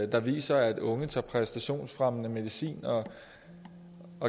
der viser at unge tager præstationsfremmende medicin og